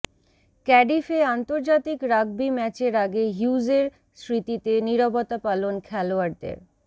ক্যাডিফে আন্তর্জাতিক রাগবি ম্যাচের আগে হিউজের স্মৃতিতে নিরবতাপালন খেলোয়াড়দের